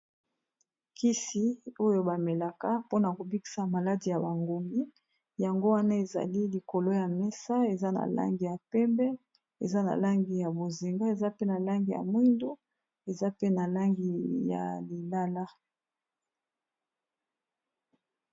Kisi oyo bamelaka mpona kobikisa maladi ya bangungi yango wana ezali likolo ya mesa eza na langi ya pembe eza na langi ya bozinga eza pe na langi ya mwindu eza pe na langi ya lilala.